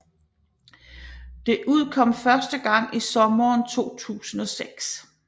Det udkom første gang i sommeren 2006